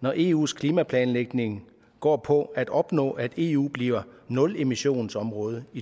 når eus klimaplanlægning går på at opnå at eu bliver nulemissionsområde i